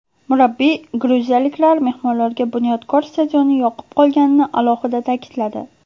Murabbiy gruziyaliklar mehmonlarga ‘Bunyodkor’ stadioni yoqib qolganini alohida ta’kidladi.